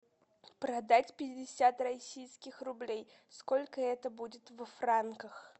продать пятьдесят российских рублей сколько это будет во франках